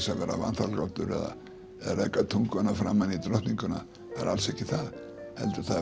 að vera vanþakklátur eða reka tunguna framan í drottninguna það er alls ekki það heldur